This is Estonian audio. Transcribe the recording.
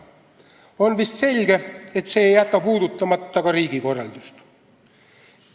On vist selge, et see ei jäta puudutamata ka riigikorraldust.